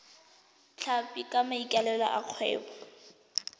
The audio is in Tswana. tlhapi ka maikaelelo a kgwebo